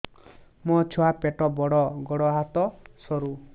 ମୋ ଛୁଆ ପେଟ ବଡ଼ ଗୋଡ଼ ହାତ ସରୁ